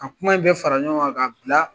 A kuma bɛɛ fara ɲɔgɔn kan ka bila